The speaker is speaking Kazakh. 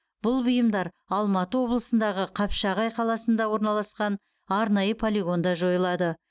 бұл бұйымдар алматы облысындағы қапшағай қаласында орналасқан арнайы полигонда жойылады